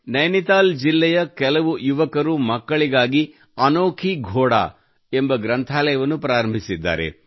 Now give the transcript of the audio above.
ನೈನಿತಾಲ್ ಜಿಲ್ಲೆಯ ಕೆಲವು ಯುವಕರು ಮಕ್ಕಳಿಗಾಗಿ ಅನೋಖಿ ಘೋಡಾ ಎಂಬ ಗ್ರಂಥಾಲಯವನ್ನು ಪ್ರಾರಂಭಿಸಿದ್ದಾರೆ